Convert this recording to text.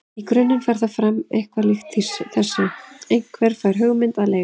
Í grunninn fer það fram eitthvað líkt þessu: Einhver fær hugmynd að leik.